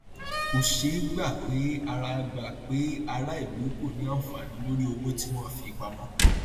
kò ṣeé gbà pé ará gbà pé ará ìlú kò ní anfaani lórí owó tí wọn fi pamọ